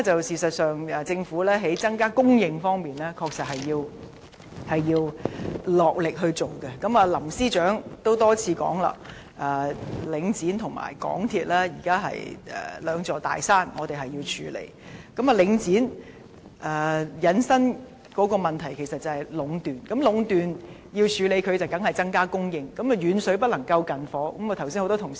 事實上，在增加供應方面，政府確實需要落力地下工夫，林鄭月娥司長也多次表示，領展和香港鐵路有限公司現時是兩座我們需要處理的大山，領展引申的是壟斷問題，要處理壟斷當然是增加供應，但遠水不能救近火，這點剛才已有多名同事提到。